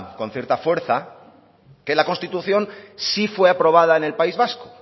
con cierta fuerza que la constitución sí fue aprobada en el país vasco